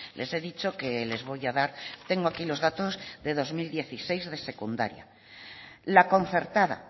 les he dicho que les voy a dar tengo aquí los datos de dos mil dieciséis de secundaria la concertada